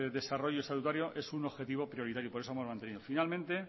desarrollo estatutario es un objetivo prioritario por eso lo hemos mantenido finalmente